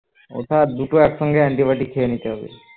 এটা দুটো একসঙ্গে anti-biotic খেয়ে নিতে হবে